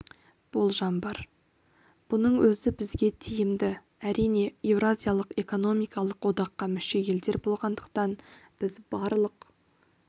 болжам бар бұның өзі бізге тиімді әрине еуразиялық экономикалық одаққа мүше елдер болғандықтан біз барлық